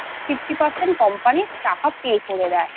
করলে Fifty Percent Company টাকা Pay করে দেয়